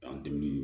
An dimin